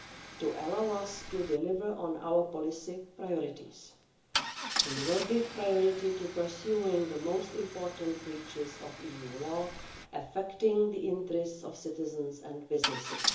to allow us to deliver on our policy priorities. We will give priority to pursuing the most important breaches of EU law affecting the interests of citizens and businesses.